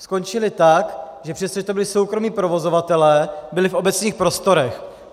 Skončily tak, že přestože to byli soukromí provozovatelé, byli v obecních prostorech.